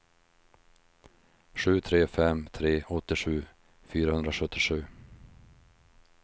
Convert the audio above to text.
sju tre fem tre åttiosju fyrahundrasjuttiosju